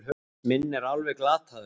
Minn er alveg glataður.